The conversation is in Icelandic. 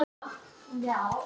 Hún getur ekki hætt.